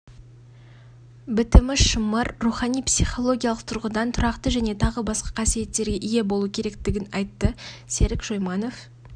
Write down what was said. бітімі шымыр рухани-психологиялық тұрғыдан тұрақты және тағы басқа қасиеттерге ие болу керектігін айтты серік шойманов